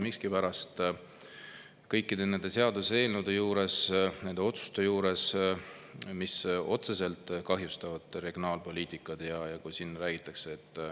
Miskipärast kõikide nende seaduseelnõude juures, nende otsuste juures, mis otseselt kahjustavad regionaalpoliitikat, räägitakse …